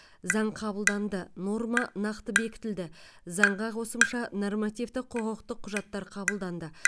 заң қабылданды норма нақты бекітілді заңға қосымша нормативтік құқықтық құжаттар қабылданды